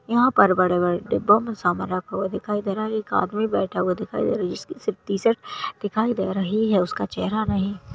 यहा पर बड़े बड़े डिब्बो मे समान रखा हुआ दिखाई दे रहा है एक आदमी बैठा हुआ दिखाई दे रहा है इसकी सिर्फ टी-शर्ट दिखाई दे रही है उसका चेहरा नही --